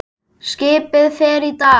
Skipið fer í dag.